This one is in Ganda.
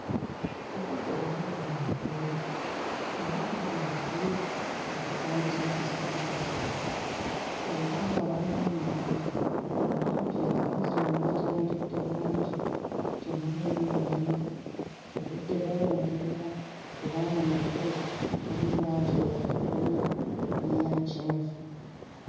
Obudde bwali buwungeera era ndaba emiti egitambuza amasannyalaze era nga waliwo ennyanja. Ennyanja eno amazzi nago gatebenkedde bulungi, temuliimu mayengo obudde buwungeera kubanga mu bire waliyo langi eya kakobe n'eya kyenvu.